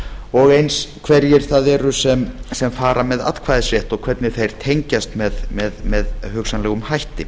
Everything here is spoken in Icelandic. og eins hverjir það eru sem fara með atkvæðisrétt og hvernig þeir tengjast með hugsanlegum hætti